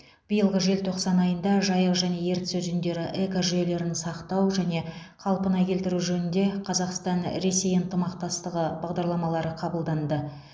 биылғы желтоқсан айында жайық және ертіс өзендері экожүйелерін сақтау және қалпына келтіру жөнінде қазақстан ресей ынтымақтастығы бағдарламалары қабылданды